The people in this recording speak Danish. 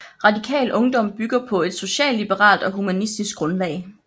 Radikal Ungdom bygger på et socialliberalt og humanistisk grundlag